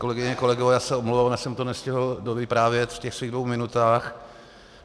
Kolegyně, kolegové, já se omlouvám, já jsem to nestihl dovyprávět v těch svých dvou minutách.